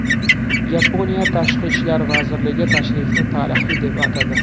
Yaponiya tashqi ishlar vazirligi tashrifni tarixiy deb atadi.